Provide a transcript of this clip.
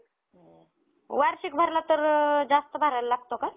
अजून CAP round ह्याचं admission पण ह्याने झालं पाहिजे त्याचं, CAP government quota through.